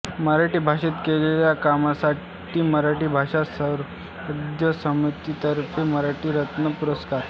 मराठी भाषेत केलेल्या कामासाठी मराठी भाषा संवर्धन समितीतर्फे मराठी रत्न पुरस्कार